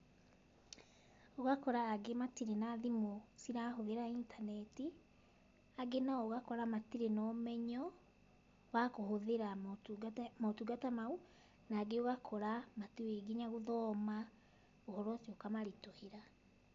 Ũgakora angĩ matirĩ na thimũ cirahũthĩra intaneti, angĩ nao ũgakora matirĩ na ũmenyo, wa kũhũthĩra motungata mau, na angĩ ũgakora matiũĩ nginya gũthoma, ũhoro ũcio ũkamaritũhĩra